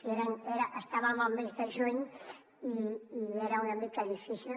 i estàvem al mes de juny i era una mica difícil